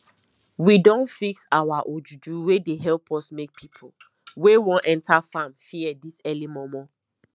we don fix our ojuju wey dey help us make people wey want enter farm fear this early momo